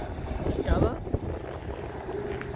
ਮੈਂ ਕਾਹਦਾ